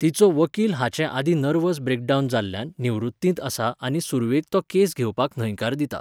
तिचो वकील हाचे आदीं नर्वस ब्रेकडावन जाल्ल्यान निवृत्तींत आसा आनी सुरवेक तो केस घेवपाक न्हयकार दिता.